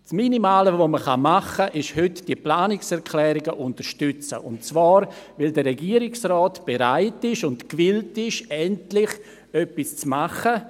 Das Minimale, was man tun kann, ist heute das Unterstützen der Planungserklärungen, und zwar, weil der Regierungsrat bereit und gewillt ist, endlich etwas zu tun.